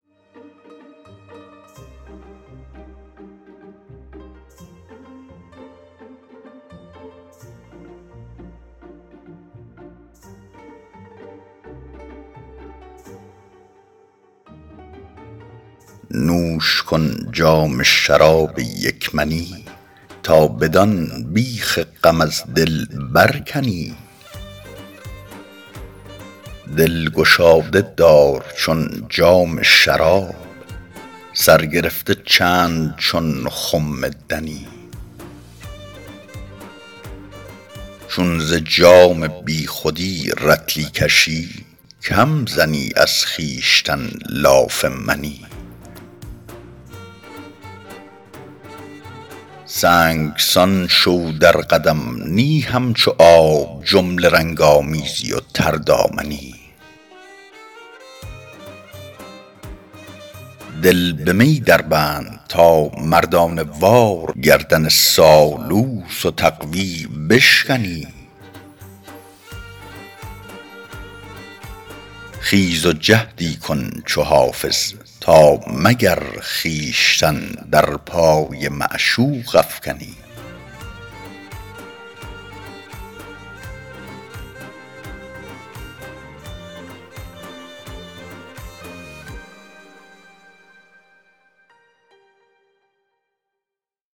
نوش کن جام شراب یک منی تا بدان بیخ غم از دل برکنی دل گشاده دار چون جام شراب سر گرفته چند چون خم دنی چون ز جام بی خودی رطلی کشی کم زنی از خویشتن لاف منی سنگسان شو در قدم نی همچو آب جمله رنگ آمیزی و تردامنی دل به می دربند تا مردانه وار گردن سالوس و تقوا بشکنی خیز و جهدی کن چو حافظ تا مگر خویشتن در پای معشوق افکنی